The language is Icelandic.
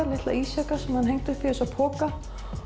litla ísjaka sem hann hengdi upp í poka